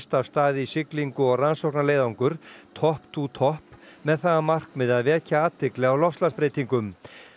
af stað í siglingu og rannsóknarleiðangur Top to Top með það að markmiði að vekja athygli á loftslagsbreytingum